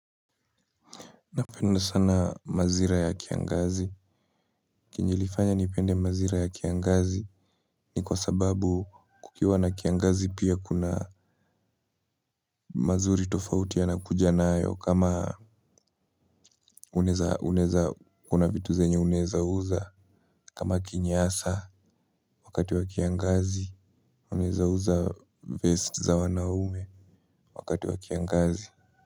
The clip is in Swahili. Napenda sana majira ya kiangazi. Chenye ilifanya nipende majira ya kiangazi ni kwa sababu kukiwa na kiangazi pia kuna mazuri tofauti yanakuja nayo kama unaweza kuwa na vitu zenye unaweza uza kama kinyasa wakati wa kiangazi unaweza uza vest za wanaume wakati wa kiangazi.